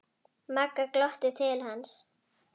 Magga glottir til hans.